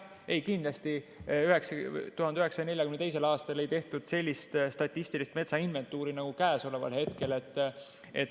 Kindlasti 1942. aastal ei tehtud sellist statistilist metsainventuuri nagu käesoleval hetkel.